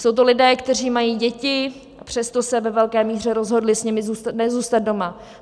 Jsou to lidé, kteří mají děti, a přesto se ve velké míře rozhodli s nimi nezůstat doma.